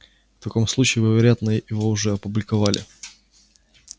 в таком случае вы вероятно его уже опубликовали